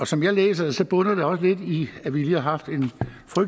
som jeg læser det bunder det også lidt i at vi lige har haft